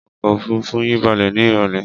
Ọkọ̀-òfurufú yín balẹ̀ ní ìrọ́lẹ́?